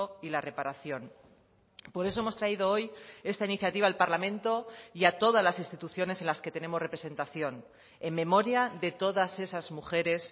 y la reparación por eso hemos traído hoy esta iniciativa al parlamento y a todas las instituciones en las que tenemos representación en memoria de todas esas mujeres